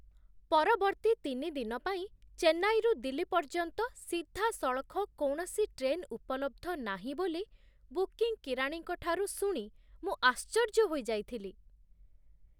ପରବର୍ତ୍ତୀ ତିନି ଦିନ ପାଇଁ ଚେନ୍ନାଇରୁ ଦିଲ୍ଲୀ ପର୍ଯ୍ୟନ୍ତ ସିଧାସଳଖ କୌଣସି ଟ୍ରେନ୍ ଉପଲବ୍ଧ ନାହିଁ ବୋଲି ବୁକିଂ କିରାଣୀଙ୍କ ଠାରୁ ଶୁଣି ମୁଁ ଆଶ୍ଚର୍ଯ୍ୟ ହୋଇଯାଇଥିଲି।